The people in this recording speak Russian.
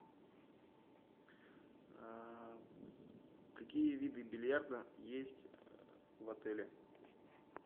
какие виды бильярда есть в отеле